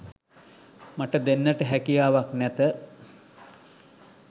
මට දෙන්නට හැකියාවක් නැත